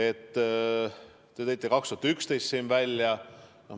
Te tõite siin välja 2011. aasta.